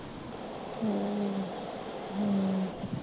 ਹਮਮ